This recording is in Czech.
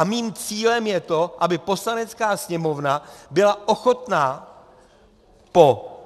A mým cílem je to, aby Poslanecká sněmovna byla ochotna po